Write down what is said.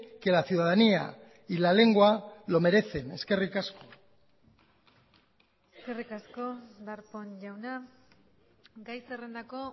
que la ciudadanía y la lengua lo merecen eskerrik asko eskerrik asko darpón jauna gai zerrendako